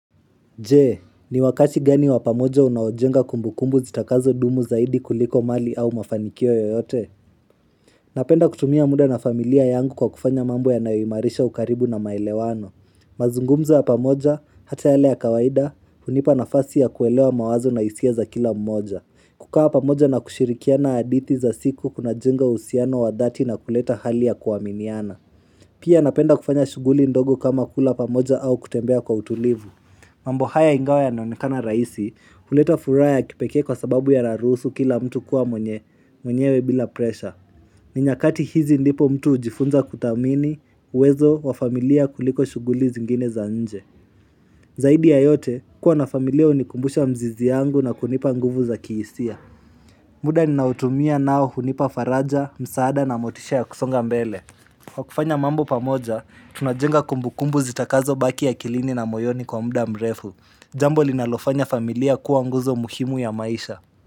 Je, ni wakati gani wa pamoja unaojenga kumbukumbu zitakazo dumu zaidi kuliko mali au mafanikio yoyote? Napenda kutumia muda na familia yangu kwa kufanya mambo ya naoyimarisha ukaribu na maelewano. Mazungumzo wa pamoja, hata yale ya kawaida, hunipa nafasi ya kuelewa mawazo na isia za kila mmoja. Kukawa pamoja na kushirikia na aditi za siku kuna jenga uhusiano wa dhati na kuleta hali ya kuwaminiana. Pia napenda kufanya shuguli ndogo kama kula pamoja au kutembea kwa utulivu. Mambo haya ingawe yanoeikana raisi, huleta furaya kipeke kwa sababu ya larusu kila mtu kuwa mwenye, mwenyewe bila presha. Ninyakati hizi ndipo mtu hujifunza kutamini, wezo wa familia kuliko shuguli zingine za nje. Zaidi ya yote, kuwa na familia unikumbusha mzizi yangu na kunipa nguvu za kiisia. Muda ninautumia nao hunipa faraja, msaada na motisha ya kusonga mbele. Kwa kufanya mambo pamoja, tunajenga kumbu kumbu zitakazo baki akilini na moyoni kwa muda mrefu. Mbo linalofanya familia kuwa nguzo muhimu ya maisha.